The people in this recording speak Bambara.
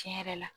Tiɲɛ yɛrɛ la